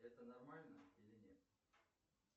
это нормально или нет